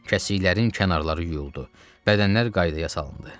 Kəsiklərin kənarları yuyuldu, bədənlər qaydaya salındı.